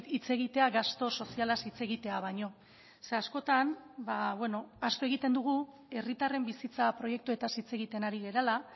hitz egitea gastu sozialaz hitz egitea baino ze askotan ahaztu egiten dugu herritarren bizitza proiektuetaz hitz egiten ari garela